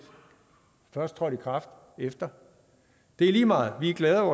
først trådt i kraft efter det er lige meget vi er glade